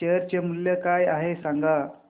share चे मूल्य काय आहे सांगा